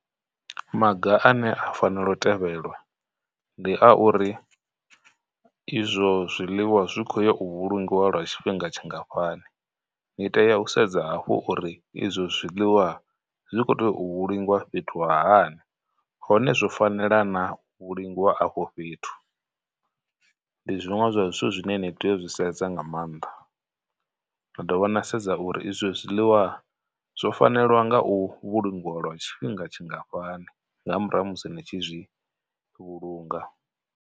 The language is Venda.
Maga ane a fanela u tevhelwa ndi a uri izwo zwiḽiwa zwi khou ya u vhulungiwa lwa tshifhinga tshingafhani, ni tea u sedza hafhu uri izwo zwiḽiwa zwi khou tea u vhulungiwa afho fhethu hani, hone zwo fanela na u vhulungiwa afho fhethu. Ndi zwiṅwe zwa zwithu zwine ni tea u zwi sedza nga maanḓa, na dovha na sedza uri izwo zwiḽiwa zwo fanela nga u vhulungiwa lwa tshifhinga tshingafhani nga murahu musi ni tshi zwi vhulunga.